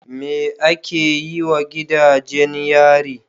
Me ake yi wa gidajen yari?